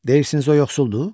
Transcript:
Deyirsiniz o yoxsuldur?